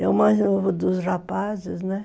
Eu mais novo dos rapazes, né?